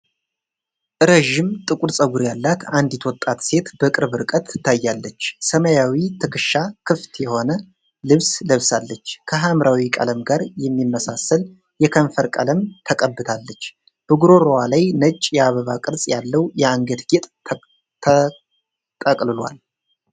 ዥም ጥቁር ፀጉር ያላት አንዲት ወጣት ሴት በቅርብ ርቀት ትታያለች። ሰማያዊ ትከሻ ክፍት የሆነ ልብስ ለብሳለች፣ ከሐምራዊ ቀለም ጋር የሚመሳሰል የከንፈር ቀለም ተቀብታለች። በጉሮሮዋ ላይ ነጭ የአበባ ቅርጽ ያለው የአንገት ጌጥ ተጠቅልሏል።